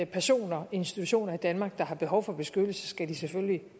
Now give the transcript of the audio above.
personer institutioner i danmark der har behov for beskyttelse skal de selvfølgelig